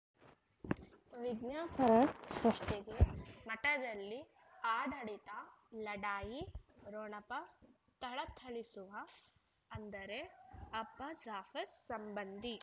ವಿಜ್ಞಾಪನೆ ಸೃಷ್ಟಿಗೆ ಮಠದಲ್ಲಿ ಆಡಳಿತ ಲಢಾಯಿ ಠೊಣಪ ಥಳಥಳಿಸುವ ಅಂದರೆ ಅಪ್ಪ ಜಾಫರ್ ಸಂಬಂಧಿ